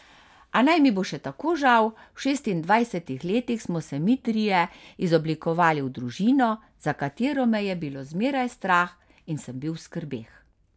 A naj mi bo še tako žal, v šestindvajsetih letih smo se mi trije izoblikovali v družino, za katero me je bilo zmeraj strah in sem bil v skrbeh.